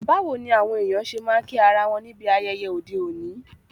Báwoni àwon èyàn se ma n kí ara won níbi ayẹyẹ ọ́de òní?